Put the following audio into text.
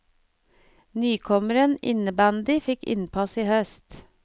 Nykommeren innebandy fikk innpass i høst.